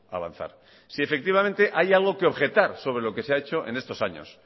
avanzar si efectivamente hay algo que objetar sobre lo que se ha hecho estos años